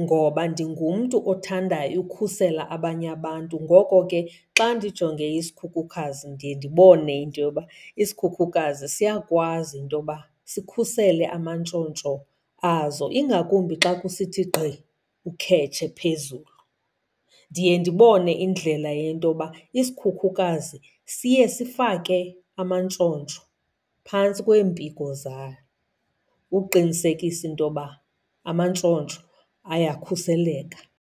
ngoba ndingumntu othandayo ukhusela abanye abantu. Ngoko ke xa ndijonge isikhukukazi ndiye ndibone into yoba isikhukhukazi siyakwazi intoba sikhusele amantshontsho azo, ingakumbi xa kusithi gqi ukhetshe phezulu. Ndiye ndibone indlela yento yoba isikhukhukazi siye sifake amantshontsho phantsi kweempiko zalo uqinisekisa into yoba amantshontsho ayakhuseleka.